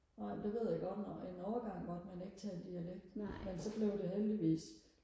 nej det ved jeg godt en overgang måtte man ikke tale dialekt men så blev det heldigvis